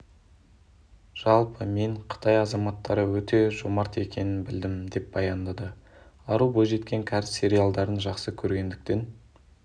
жалпы мен қытай азаматтары өте жомарт екенін білдім деп баяндады ару бойжеткен кәріс сериалдарын жақсы көргендіктен